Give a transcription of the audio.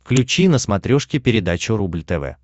включи на смотрешке передачу рубль тв